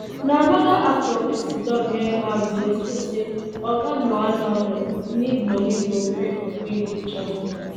na anoda actor wey siddon near am dey explain say oga muonagor need money to pay for kidney transplant